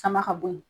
Sama ka bɔ ye